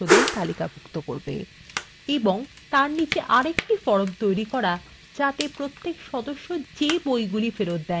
এবং তারপর তার নীচে একটি ফরম তৈরি করা যা সেসব বইগুলিকে তালিকাভুক্ত করবে যা সদস্যদের দ্বারা ফেরত হয়নি